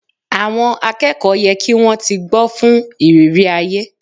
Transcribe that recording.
Àwọn akẹ́kọ̀ọ́ ye kí wón ti gbó fún ìrírí ayé.